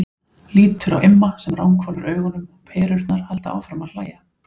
Lítur á Imma sem ranghvolfir augunum og Perurnar halda áfram að hlæja.